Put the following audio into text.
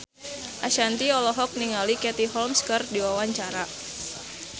Ashanti olohok ningali Katie Holmes keur diwawancara